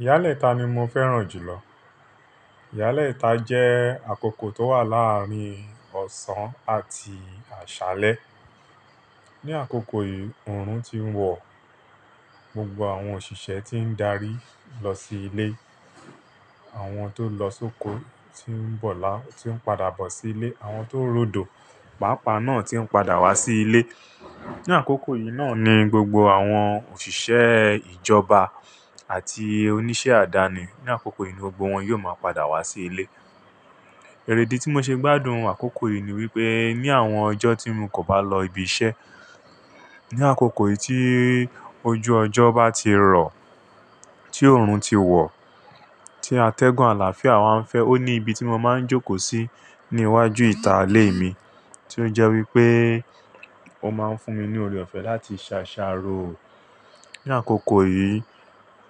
Ìyálẹta ni mo fẹràn ju lo Ìyálẹta jẹ́ àkókò tó wà láàárín ọ̀sán àti àṣálẹ́. Ní àkókò yìí oorun ti ń wọ̀, gbogbo àwọn òṣìṣẹ́ tí ń darí lọ sí ilé, àwọn tó lọ sóko tí ń bọ̀, tí ń padà bọ̀ sí ilé, àwọn tó ń ròdò, pàápàá náà tí ń padà wá sí ilé. Ní àkókò yìí náà ni gbogbo àwọn òṣìṣẹ́ ìjọba àti oníṣẹ́ àdáni, ní àkókò yìí ni gbogbo wọn yóò máa padà wá sí ilé. Ẹ̀rèdí tí mo ṣe gbádùn àkókò yìí ni wípé ní àwọn ọjọ́ tí mo kò bá lọ ibi iṣẹ́, ní àkókò yìí tí ojú ọjọ́ bá ti rọ̀, tí oorun ti wọ̀, tí atẹ́gùn àlàáfíà wáa ń fẹ́, ó ní ibi tí mo máa ń jókòó sí ní iwájú ìta ilé mi, tí ó jẹ́ wípé ó máa ń fún mi ní oore ọ̀fẹ́ láti ṣàṣàrò. Ní àkókò yìí,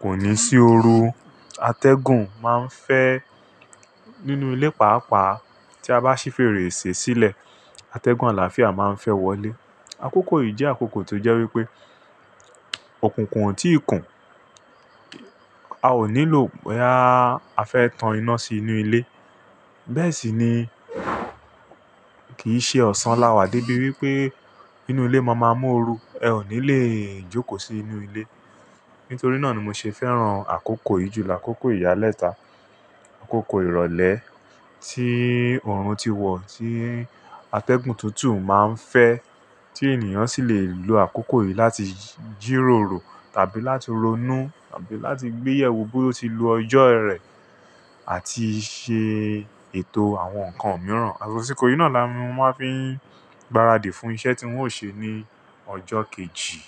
kò ní sí oru, atẹ́gùn máa ń fẹ́ nínú ilé pàápàá tí a bá ṣí fèrèsé sílẹ̀, atẹ́gùn àlàáfíà máa ń fẹ́ wọlé. Àkókò yìí jẹ́ àkókò tó jẹ́ wípé ọ̀kùnkùn ò tíì kùn, a ò nílò boyá afẹ́ tán iná sí inú ilé. Bẹ́ẹ̀ sì ni kì í ṣe ọ̀sán láwà débi wípé nínú ilé mo máa mú oru. Ẹ ò ní lè jókòó sí inú ilé. Nítorí náà ni mo ṣe fẹ́ràn àkókò yìí jùlọ, àkókò ìyálẹta, àkókò ìrọ̀lẹ́ tí oorun ti wọ̀, tí atẹ́gùn tútù máa ń fẹ́, tí ènìyàn sì lè lo àkókò yìí láti jírórò tàbí láti ronú tàbí láti gbéyèwò bó ti lu ọjọ́ rẹ̀ àti ṣe ètò àwọn nǹkan mìíràn. Àsìkò yìí náà la mu-máa fi ń gbáradì fún iṣẹ́ tí won ṣe ní ọjọ́ kejì.